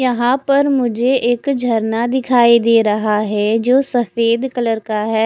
यहाँ पर मुझे एक झरना दिखाई दे रहा है जो सफ़ेद कलर का है।